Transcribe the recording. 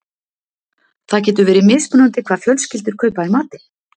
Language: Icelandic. Það getur verið mismunandi hvað fjölskyldur kaupa í matinn.